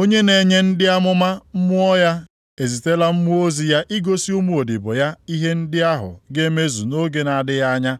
onye na-enye ndị amụma Mmụọ ya ezitela mmụọ ozi ya igosi ụmụodibo ya ihe ndị ahụ ga-emezu nʼoge na-adịghị anya.